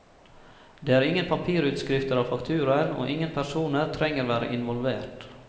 Det er ingen papirutskrifter av fakturaen, og ingen personer trenger være involvert.